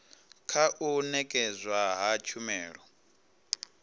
kha u nekedzwa ha tshumelo